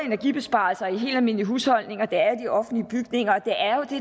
energibesparelser i helt almindelige husholdninger og i de offentlige bygninger